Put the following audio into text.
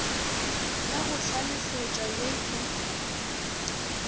ya go hlalefetpa ye e